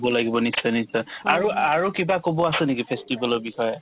ব লাগিব নিশ্চয় নিশ্চয় আৰু আৰু কিবা ক'ব আছে নেকি festival ৰ বিষয়ে